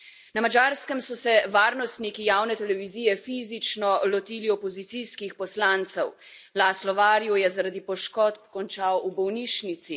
Na Madžarskem so se varnostniki javne televizije fizično lotili opozicijskih poslancev, Laszlo Varju je zaradi poškodb končal v bolnišnici.